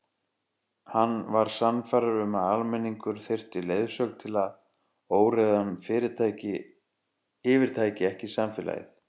Hann var sannfærður um að almenningur þyrfti leiðsögn til að óreiðan yfirtæki ekki samfélagið.